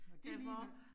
Og det alligevel